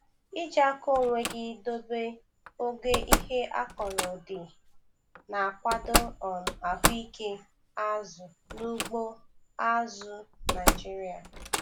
Iji aka onwe gị dobe ogo ihe akọrọ dị na-akwado um ahụike azụ na ugbo azụ̀ Naịjiria.